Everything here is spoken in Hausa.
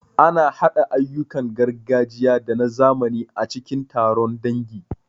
Ana haɗa ayyukan gargajiya da na zamani a cikin taron dangi.